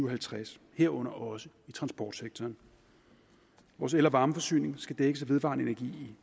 og halvtreds herunder også i transportsektoren vores el og varmeforsyning skal dækkes af vedvarende energi